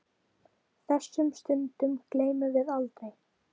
Þessum stundum gleymum við aldrei.